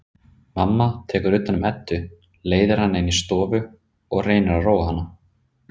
Mamma tekur utan um Eddu, leiðir hana inn í stofu og reynir að róa hana.